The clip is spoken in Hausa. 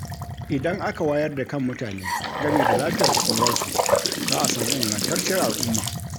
Idan aka wayar da kan mutane game da lafiyar ƙwaƙwalwarsu, za a sami ingantacciyar al’umma.